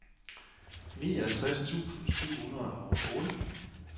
niogtres tusind syv hundrede og otte